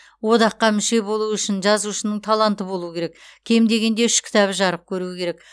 одаққа мүше болу үшін жазушының таланты болу керек кем дегенде үш кітабы жарық көру керек